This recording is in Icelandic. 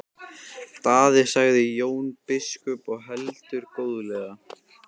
Daði, sagði Jón biskup og heldur góðlega.